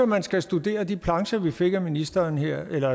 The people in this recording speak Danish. man skal studere de plancher vi fik af ministeren her eller